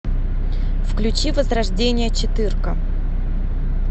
включи возрождение четырка